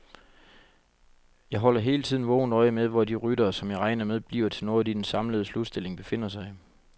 Jeg holder hele tiden vågent øje med, hvor de ryttere, som jeg regner med bliver noget i den samlede slutstilling, befinder sig.